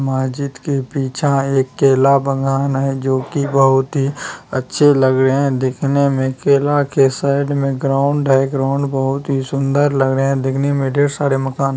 मस्जिद के पीछा एक केला बगान है जो की बहुत ही अच्छे लग रहें हैं देखने में किला के साइड में ग्राउंड है ग्राउंड बहुत ही सुंदर लग रहा है देखने में ढेर सारे मकान --